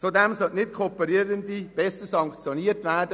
Zudem sollten Nicht-Kooperierende strenger sanktioniert werden.